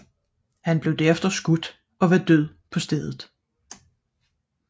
Han blev derefter skudt ned og var død på stedet